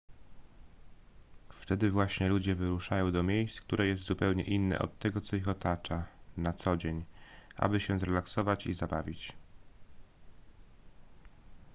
wtedy właśnie ludzie wyruszają do miejsc które jest zupełnie inne od tego co ich otacza na co dzień aby się zrelaksować i zabawić